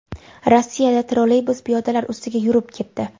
Rossiyada trolleybus piyodalar ustiga yurib ketdi.